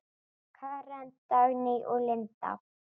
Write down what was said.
Karen, Dagný og Linda.